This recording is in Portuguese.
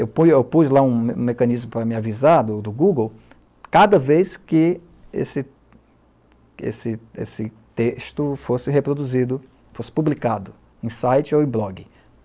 Eu pu eu pus lá um mecanismo para me avisar, do Google, cada vez que esse esse esse texto fosse reproduzido, fosse publicado em site ou em blog.